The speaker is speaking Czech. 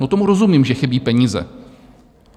No, tomu rozumím, že chybí peníze.